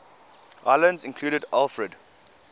islands included alfred